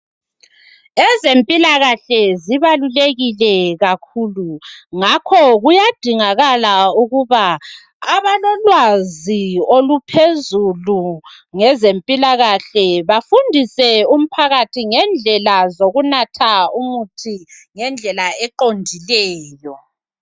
Ezempilakahle zibalulekile kakhulu ngakho kuyadingakala ukuba abalolwazi oluphezulu ngezempilakahle bafundise umphakathi ngendlela zokunatha umuthi ngendlela eqondileyo.